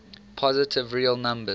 positive real number